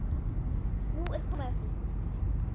Nú er komið að því!